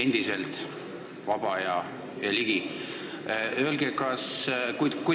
Endiselt vaba ja Ligi.